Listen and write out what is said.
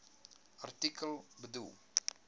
artikel bedoel